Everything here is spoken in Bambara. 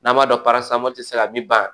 N'an b'a dɔn parasamɔ ti se ka min ban